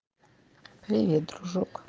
привет дружок